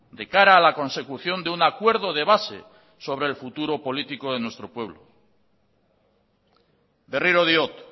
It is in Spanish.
de cara a la consecución de un acuerdo de base sobre el futuro político de nuestro pueblo berriro diot